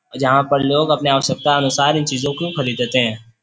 जहां पर लोग अपने आवश्यकता अनुसार इन चीजों को खरीदते हैं|